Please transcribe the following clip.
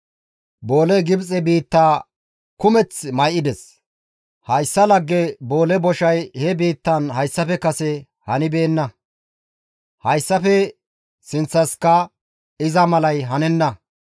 Booley Gibxe biitta kumeththi may7ides. Hayssa lagge boole boshay he biittaan hayssafe kase hanibeenna; hayssafe sinththankka iza malay hanenna.